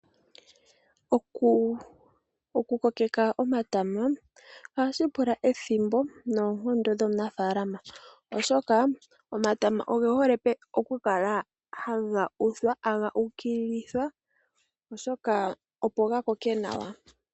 Oku kokeka omatama ohashi pula ethimbo noonkondo dho munafaalama. Oshoka omatama oge hole oku kala haga uthwa haga ukililithwa oshoka opo ga koke nawa.